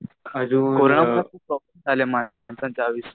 कोरोनामुळे आले माणसांच्या आयुष्यात.